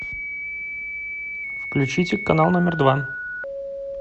включите канал номер два